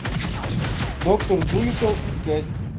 доктор дулиттл искать